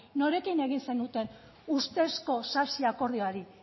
norekin egin zenuten ustezko sasiakordioari